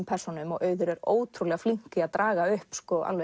persónum og Auður er ótrúlega flink í að draga upp